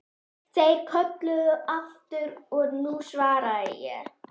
Þeir kölluðu aftur og nú svaraði ég.